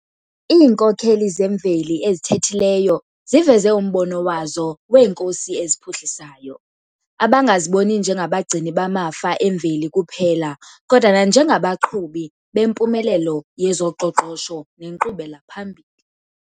Iinkokheli zemveli ezithethileyo ziveze umbono wazo 'weenkosi eziphuhlisayo', abangaziboni njengabagcini bamafa emveli kuphela kodwa nanjengabaqhubi bempumelelo yezoqoqosho nenkqubela phambili.